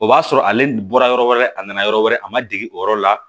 O b'a sɔrɔ ale bɔra yɔrɔ wɛrɛ a nana yɔrɔ wɛrɛ a ma dege o yɔrɔ la